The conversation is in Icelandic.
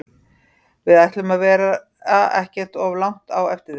Við ætlum að vera ekkert of langt á eftir þeim.